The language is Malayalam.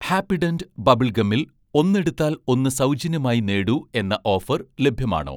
ഹാപ്പിഡെന്റ് ബബിൾഗമിൽ 'ഒന്ന് എടുത്താൽ ഒന്ന് സൗജന്യമായി നേടൂ' എന്ന ഓഫർ ലഭ്യമാണോ?